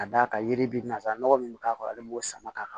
Ka d'a kan yiri bɛ nanzara nɔgɔ min bɛ k'a kɔrɔ ale b'o sama ka